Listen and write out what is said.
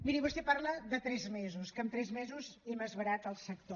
miri vostè parla de tres mesos que amb tres mesos hem esverat el sector